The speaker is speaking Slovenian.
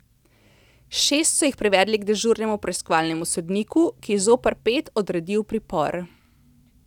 Šest so jih privedli k dežurnemu preiskovalnemu sodniku, ki je zoper pet odredil pripor.